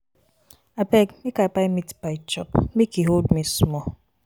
abeg make i buy meat pie chop make e hold me small